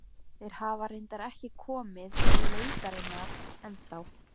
Laufgaðar greinar þorpsins bylgjuðust yfir höfðum þeirra í golunni.